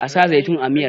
a sa zaitun a miyar!